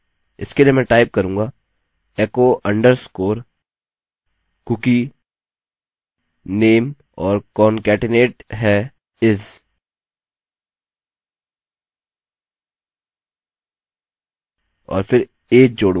इसके लिए मैं टाइप करूँगा echo underscore cookie name और concatenate है is और फिर age जोडूंगा